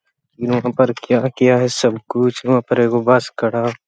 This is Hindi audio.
वहाँ पर क्या किया है सब कुछ वहाँ पर एगो बस खड़ा --